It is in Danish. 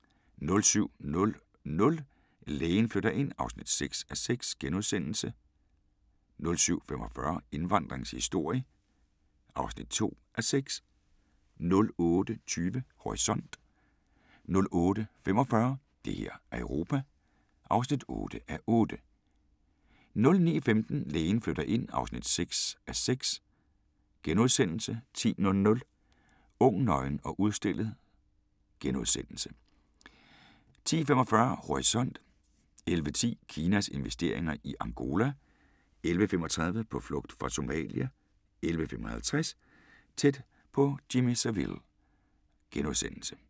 07:00: Lægen flytter ind (6:6)* 07:45: Indvandringens historie (2:6) 08:20: Horisont 08:45: Det her er Europa (8:8) 09:15: Lægen flytter ind (6:6)* 10:00: Ung, nøgen og udstillet * 10:45: Horisont 11:10: Kinas investeringer i Angola 11:35: På flugt fra Somalia 11:55: Tæt på Jimmy Savile *